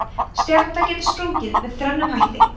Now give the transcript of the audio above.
stjarna getur sprungið með þrennum hætti